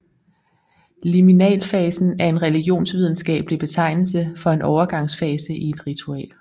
Liminalfasen er en religionsvidenskabelig betegnelse for en overgangsfase i et ritual